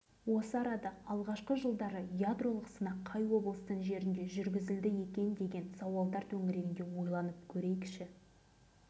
сөйтіп полигон семей облысы жерінде орналасқанымен шын мәнінде оның пайызы павлодар облысының жерін алып жатқанын қазірге дейін екінің